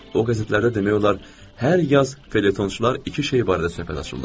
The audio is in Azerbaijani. O qəzetlərdə demək olar hər yaz felyetonçular iki şey barədə söhbət açırlar.